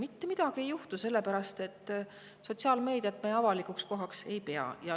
Mitte midagi ei juhtu, sellepärast et sotsiaalmeediat ta avalikuks kohaks ei pea.